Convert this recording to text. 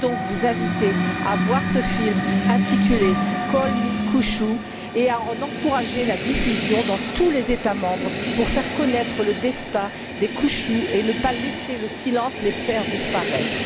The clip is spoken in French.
Je veux donc vous inviter à voir ce film intitulé Call me Kuchu et à en encourager la diffusion dans tous les États membres pour faire connaître le destin des kuchus et ne pas laisser le silence les faire disparaître.